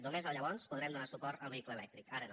només llavors podrem donar suport al vehicle elèctric ara no